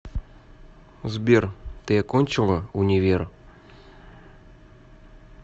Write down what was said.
сбер ты окончила универ